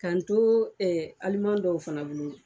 Ka n to ɛɛ aliman dɔw fana bolo